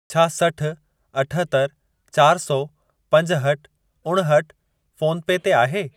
छा सठि, अठहतरि, चारि सौ, पंजहठि, उणहठि फ़ोन पे ते आहे?